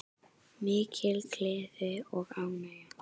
Mikil gleði og ánægja.